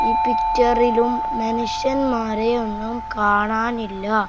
ഈ പിച്ചറിലും മനുഷ്യന്മാരെ ഒന്നും കാണാനില്ല.